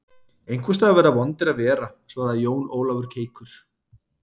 Einhvers staðar verða vondir að vera, svaraði Jón Ólafur keikur.